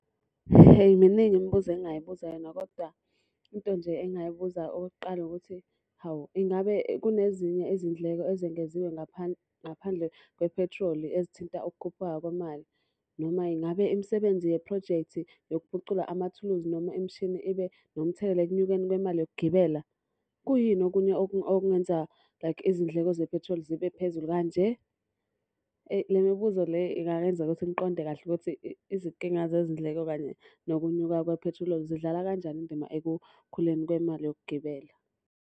Hheyi miningi imibuzo engingayibuza yona kodwa into nje engingayibuza okokuqala ukuthi, hawu ingabe kunezinye izindleko ezengeziwe ngaphandle kwephethiloli ezithinta ukukhuphuka kwemali? Noma ingabe imisebenzi yephrojekthi yokuphucula amathuluzi noma imishini ibe nomthelela ekunyukeni kwemali yokugibela? Kuyini okunye okungenza like izindleko zephethiloli zibe phezulu kanje? Le mibuzo le ingangenza ukuthi ngiqonde kahle ukuthi izinkinga zezindleko kanye nokunyuka kwephethiloli zidlala kanjani indima ekukhuleni kwemali yokugibela.